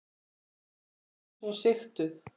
Þau svo sigtuð.